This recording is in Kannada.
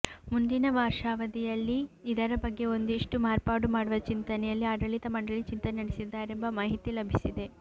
ಮುಂದಿನ ವರ್ಷಾವಧಿಯಲ್ಲಿ ಇದರ ಬಗ್ಗೆ ಒಂದಿಷ್ಟು ಮಾರ್ಪಾಡು ಮಾಡುವ ಚಿಂತನೆಯಲ್ಲಿ ಆಡಳಿತ ಮಂಡಳಿ ಚಿಂತನೆ ನಡೆಸಿದ್ದಾರೆಂಬ ಮಾಹಿತಿ ಲಭಿಸಿದೆ